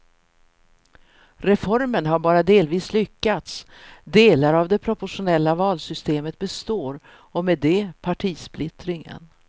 Reformen har bara delvis lyckats, delar av det proportionella valsystemet består och med det partisplittringen.